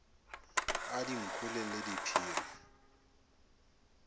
a dinku le le diphiri